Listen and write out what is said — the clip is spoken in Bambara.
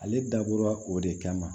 Ale dabɔra o de kama